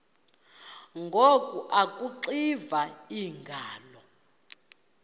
ngoku akuxiva iingalo